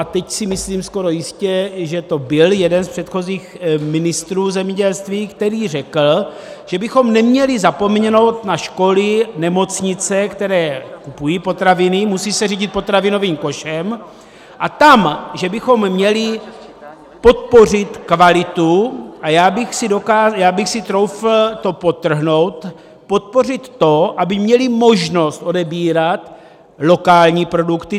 A teď si myslím skoro jistě, že to byl jeden z předchozích ministrů zemědělství, který řekl, že bychom neměli zapomenout na školy, nemocnice, které kupují potraviny, musí se řídit potravinovým košem, a tam že bychom měli podpořit kvalitu - a já bych si troufl to podtrhnout - podpořit to, aby měly možnost odebírat lokální produkty.